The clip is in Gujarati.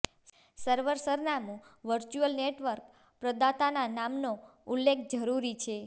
સર્વર સરનામું વર્ચ્યુઅલ નેટવર્ક પ્રદાતાના નામનો ઉલ્લેખ જરૂરી છે